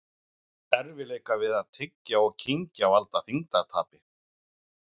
Erfiðleikar við að tyggja og kyngja valda þyngdartapi.